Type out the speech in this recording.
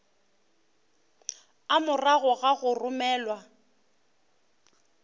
a morago ga go romelwa